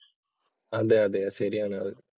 അതെ അതെ ശരിയാണത്.